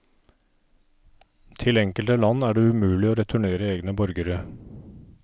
Til enkelte land er det umulig å returnere egne borgere.